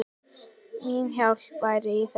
Mín hjálp væri í þeim.